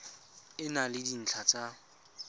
e na le dintlha tsa